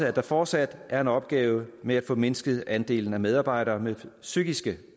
at der fortsat er en opgave med at få mindsket andelen af medarbejdere med psykiske